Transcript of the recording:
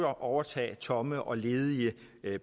at overtage tomme og ledige